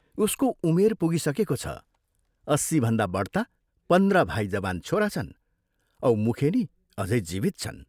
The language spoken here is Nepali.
उसको उमेर पुगिसकेको छ अस्सीभन्दा बढ्ता पन्ध्र भाइ जवान छोरा छन् औ मुखेनी अझै जीवित छन्।